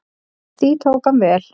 Því tók hann vel.